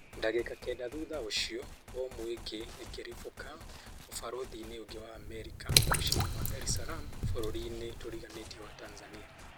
Dagika kenda thutha ũcio, bomu ĩngĩ ĩkĩribũka ũbarũthi-inĩ ũngĩ wa Amerika mũciĩ-inĩ wa Dar es Salaam bũrũĩri-inĩ tũriganĩtie wa Tanzania